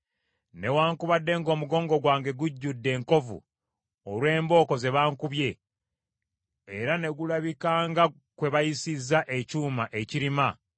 Newaakubadde ng’omugongo gwange gujjudde enkovu olw’embooko ze bankubye era ne gulabika nga kwe bayisizza ekyuma ekirima,